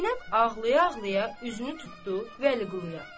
Zeynəb ağlaya-ağlaya üzünü tutdu Vəliquluya.